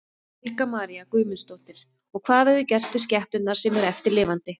Helga María Guðmundsdóttir: Og hvað verður gert við skepnurnar sem eru eftir lifandi?